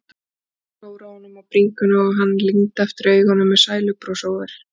Hún klóraði honum á bringunni og hann lygndi aftur augunum með sælubros á vör.